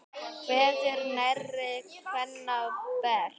Kveður nærri kvenna best.